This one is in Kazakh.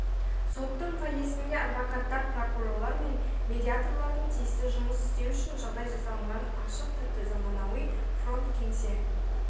соттың фойесінде адвокаттар прокурорлар мен медиаторлардың тиісті жұмысы істеу үшін жағдай жасалынған ашық типті заманауи фронт-кеңсе